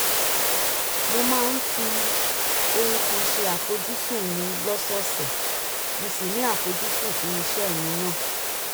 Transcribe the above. mo máa ń fi ohun kan ṣe àfojúsùn mi lọ́sọ̀ọ̀sẹ̀ mo sì ní àfojúsùn fún iṣẹ́ mi náà